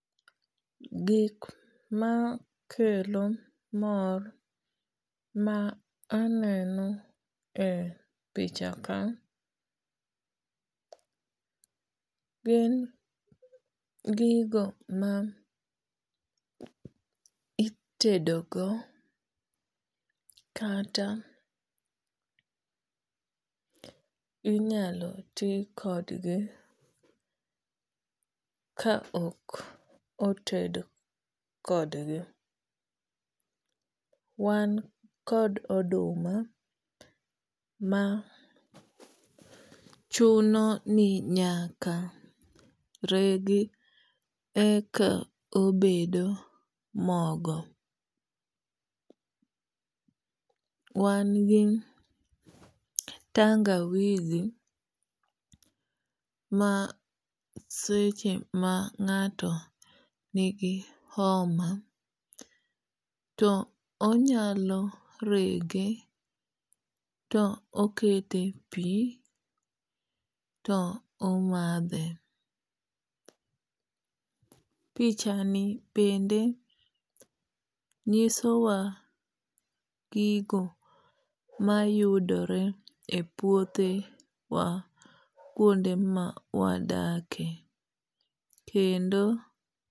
Gik makelo mor ma aneno e pichaka gin gigo ma itedo go kata inyalo ti kodgi ka ok oted kodgi. Wan kod oduma ma chuno ni nyaka regi eka obedo mogo. Wan gi tangawizi ma seche ma ng'ato nigi homa to onyalo rege to okete e pi to omadhe. Pichani bende nyiso wa gigo mayudore e puothe wa kuonde ma wadakie. Kendo.